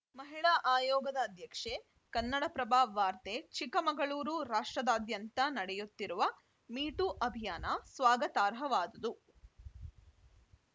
ಮಹಿಳಾ ಆಯೋಗದ ಅಧ್ಯಕ್ಷೆ ಕನ್ನಡಪ್ರಭ ವಾರ್ತೆ ಚಿಕ್ಕಮಗಳೂರು ರಾಷ್ಟ್ರದಾದ್ಯಂತ ನಡೆಯುತ್ತಿರುವ ಮಿ ಟೂ ಅಭಿಯಾನ ಸ್ವಾಗತಾರ್ಹವಾದುದು